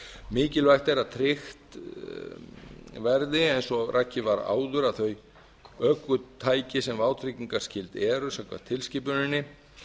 mikilvægt er að tryggt verði eins og rakið var áður að þau ökutæki sem vátryggingarskyld eru samkvæmt tilskipuninni